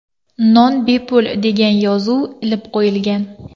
Non bepul” degan yozuv ilib qo‘yilgan.